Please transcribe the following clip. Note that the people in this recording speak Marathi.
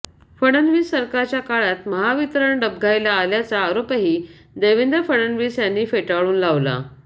फडणवीस सरकारच्या काळात महावितरण डबघाईला आल्याचा आरोपही देवेंद्र फडणवीस यांनी फेटाळून लावला